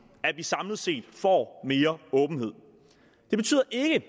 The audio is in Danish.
at vi samlet set får mere åbenhed det betyder ikke